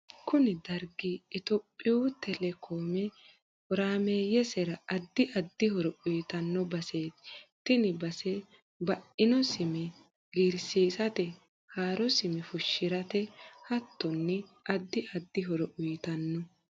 kuni dargi itophiyu telekome horaameeyesera addi addi horo uyitanno baseeti. tini base baino sime giirsiisate, haaro sime fushirate hattonni addi addi horo uyitanno.